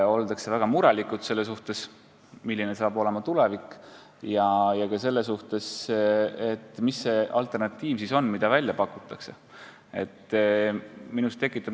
Ollakse väga mures, milline saab olema tulevik, ja ka selle pärast, milline on alternatiiv, mida välja pakutakse.